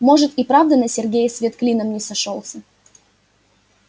может и правда на сергее свет клином не сошёлся